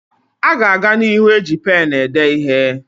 A ga-aga n'ihu eji penụ ede ihe.